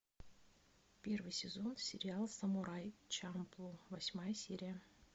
первый сезон сериал самурай чамплу восьмая серия